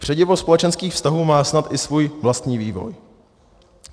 Předivo společenských vztahů má snad i svůj vlastní vývoj.